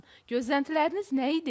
Gözləntiləriniz nə idi?